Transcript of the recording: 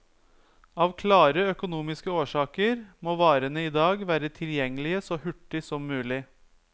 Av klare økonomiske årsaker må varene i dag være tilgjengelige så hurtig som mulig.